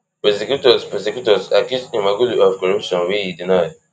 prosecutors prosecutors accuse imamoglu of corruption wey e deny